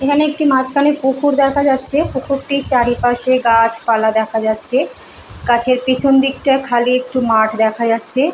এইখানে একটি মাঝখানে পুকুর দেখা যাচ্ছে। পুকুরটি চারিপাশে গাছপালা দেখা যাচ্ছে। গাছের পেছন দিকটা খালি একটু মাঠ দেখা যাচ্ছে ।